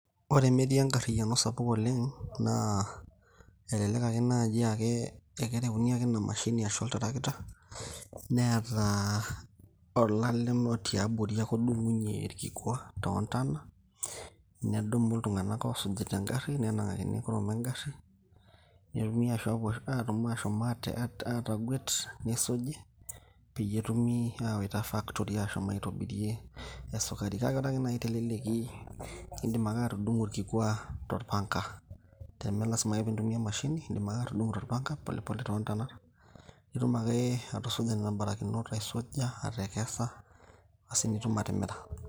ore metii angariyiano sapuk oleng naa elelek ake naaji aakereuni ake enamashi ashu oltarakita ,neeta olalem tiabori odung'unye irkikua too ntona nedumu iltung'anak osujita egari nenang'aki kurum egari nepoi ang'et ni suji pee etumi awaita factory atobirie esukari , naaa idim ake atudung'o irkikwa tolpanga pole pole too ntonat nitum ake atusuja nena barakinot.